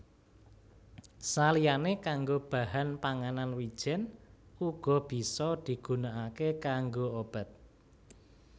Saliyané kanggo bahan panganan wijèn uga bisa digunakaké kanggo obat